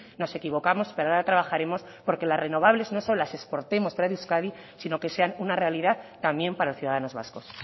nos equivocamos pero ahora trabajaremos porque las renovables no solo las exportemos fuero de euskadi sino que sean una realidad también para ciudadanos vascos